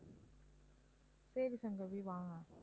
சரி சங்கவி வாங்க